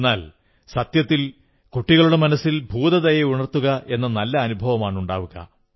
എന്നാൽ സത്യത്തിൽ കുട്ടികളുടെ മനസ്സിൽ ഭൂതദയ ഉണർത്തുകയെന്ന നല്ല അനുഭവമാണുണ്ടാവുക